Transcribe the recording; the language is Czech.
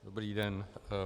Dobrý den.